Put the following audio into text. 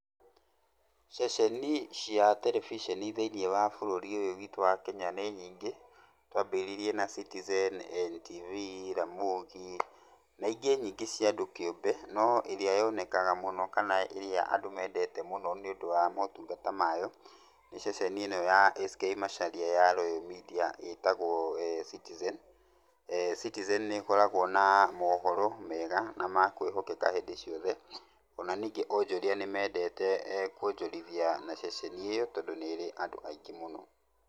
Ceceni ci terebiceni thĩiniĩ wa bũrũri ũyũ witũ wa Kenya nĩ nyingĩ. Twambĩrĩrie na Citizen, NTV, Ramogi, na ingĩ nyingĩ cia andũ kĩũmbe. No ĩrĩa yonekaga mũno kana ĩrĩa andũ meendete mũno nĩũndũ wa maũtungata mayo, nĩ ceceni ĩno ya S K Macharia ya Royal Media ĩtagwo Citizen. Citizen nĩ ĩkoragwo na maũhoro mega na ma kwĩhokeka hĩndĩ ciothe. O na ningĩ ũnjũria nĩ mendete kuonjorithia, na ceceni ĩyo tondũ nĩ ĩrĩ andũ aingĩ mũno.